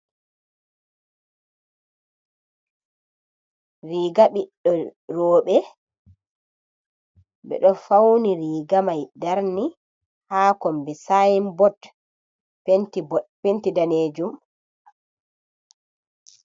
Riiga ɓiɓɓe rooɓe. Ɓe ɗo pawni riiga may darni haa kommbi ''sign-board'' penti daneejum.